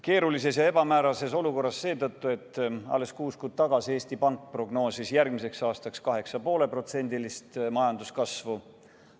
Keeruline ja ebamäärane on olukord seetõttu, et alles kuus kuud tagasi Eesti Pank prognoosis järgmiseks aastaks 8,5% majanduskasvu.